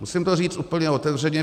Musím to říct úplně otevřeně.